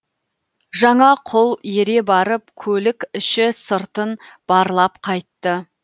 жаңа құл ере барып көлік іші сыртын барлап қайтты